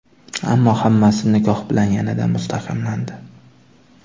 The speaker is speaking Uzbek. Ammo hammasi nikoh bilan yanada mustahkamlandi.